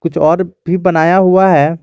कुछ और भी बनाया हुआ है।